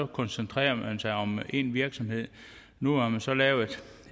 koncentrerede sig om én virksomhed nu har man så lavet